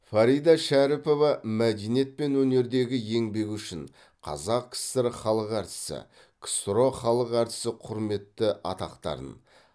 фарида шәріпова мәдениет пен өнердегі еңбегі үшін қазақ кср халық әртісі ксро халық әртісі құрметті атақтарын